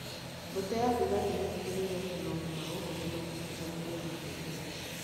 Mbũtũ ya thigari nĩ ĩtigĩrĩire atĩ maũndũ ma gũkũ nĩ magitĩre na nĩmaige wega